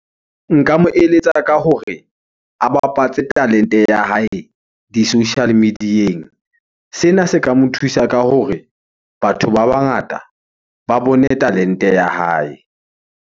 Nka mo eletsa ka hore a bapatse talente ya hae di-social media-eng. Sena se ka mo thusa ka hore batho ba bangata ba bone talente ya hae.